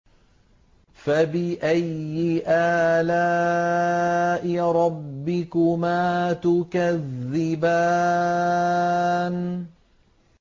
فَبِأَيِّ آلَاءِ رَبِّكُمَا تُكَذِّبَانِ